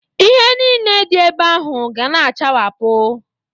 Ihe nile dị ebe ahụ ga na-achawapụ.